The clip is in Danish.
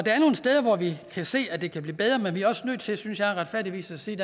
steder hvor vi kan se at det kan blive bedre men vi er også nødt til synes jeg retfærdigvis at sige